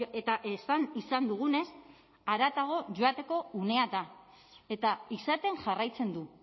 eta esan izan dugunez haratago joateko unea da eta izaten jarraitzen du